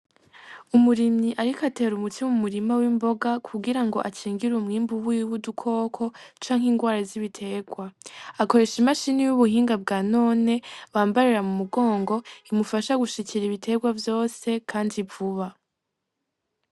Umurimyi ariko atera umuti mu murima w'imboga, kugira akingire umwimbu wiwe udukoko, canke ingwara z'ibiterwa, akoresha imashini y'ubuhinga bwa none bambarira mu mugongo imufasha gushikira ibiterwa vyose kandi vuba.